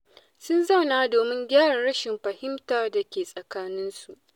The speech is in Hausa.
Sun zauna domin gyara rashin fahimtar da ke tsakaninsu.